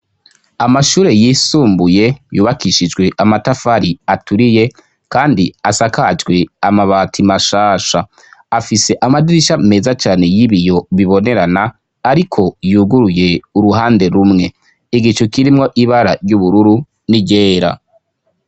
Amashure yisumbuye yubakishijwe amatafari aturiye kandi asakajwe amabati mashasha. Afise amadirisha meza cane y'ibiyo bibonerana ariko yuguruye uruhande rumwe. Igicu kirimwo ibara ry'ubururu n'iryera.